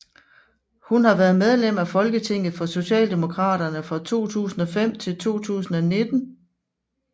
Hun har været medlem af Folketinget for Socialdemokraterne fra 2005 til 2019